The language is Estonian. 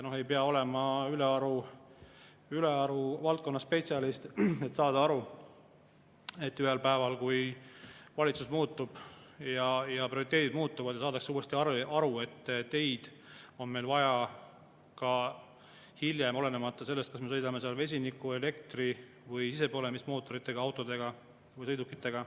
Ei pea olema selles valdkonnas ülearu hea spetsialist, et aru saada aru: ühel päeval, kui valitsus muutub ja prioriteedid muutuvad, saadakse uuesti aru, et teid on meil vaja ka hiljem, olenemata sellest, kas me sõidame vesiniku-, elektri- või sisepõlemismootoriga autodega või sõidukitega.